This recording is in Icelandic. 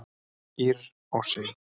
Ýrr og Sif.